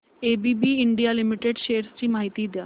ABB India limited shares ची माहिती द्या